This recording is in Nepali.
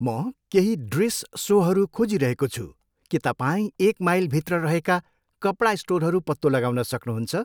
म केही ड्रेस सोहरू खोजिरहेको छु के तपाईँ एक माइलभित्र रहेका कपडा स्टोरहरू पत्तो लगाउन सक्नुहुन्छ?